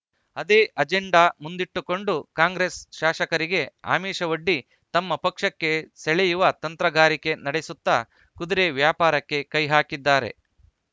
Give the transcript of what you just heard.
ಅದೇ ಅಜೆಂಡಾ ಮುಂದಿಟ್ಟುಕೊಂಡು ಕಾಂಗ್ರೆಸ್‌ ಶಾಸಕರಿಗೆ ಆಮಿಷವೊಡ್ಡಿ ತಮ್ಮ ಪಕ್ಷಕ್ಕೆ ಸೆಳೆಯುವ ತಂತ್ರಗಾರಿಕೆ ನಡೆಸುತ್ತಾ ಕುದುರೆ ವ್ಯಾಪಾರಕ್ಕೆ ಕೈಹಾಕಿದ್ದಾರೆ